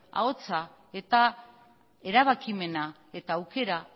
ahotsa eta erabakimena eta aukera